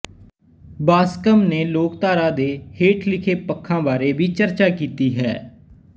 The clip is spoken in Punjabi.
ਬਾਸਕਮ ਨੇ ਲੋਕਧਾਰਾ ਦੇ ਹੇਠ ਲਿਖੇ ਪੱਖਾਂ ਬਾਰੇ ਵੀ ਚਰਚਾ ਕੀਤੀ ਹੈ